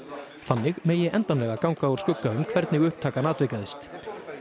þannig megi endanlega ganga úr skugga um hvernig upptakan atvikaðist